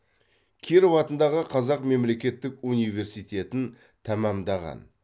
киров атындағы қазақ мемлекеттік университетін тәмамдаған